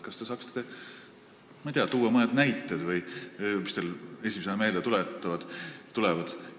Kas te saaksite, ma ei tea, tuua mõne näite või midagi, mis teile esimesena meelde tuleb?